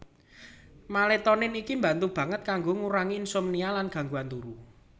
Maletonin iki mbantu banget kanggo ngurangi insomnia lan gangguan turu